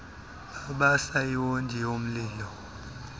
babasa iwondi lomlilo